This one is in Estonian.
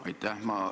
Aitäh!